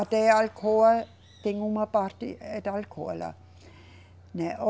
Até a Alcoa, tem uma parte é da Alcoa lá. Né, o